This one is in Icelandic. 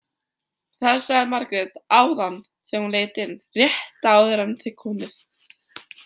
Það sagði Margrét áðan þegar hún leit inn, rétt áður en þið komuð.